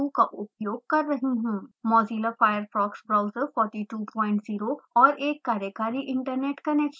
mozilla firefox browser 420 और एक कार्यकारी इन्टरनेट कनेक्शन